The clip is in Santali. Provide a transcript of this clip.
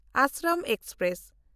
ᱟᱥᱨᱚᱢ ᱮᱠᱥᱯᱨᱮᱥ